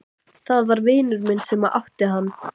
Það var vinur minn sem átti hann.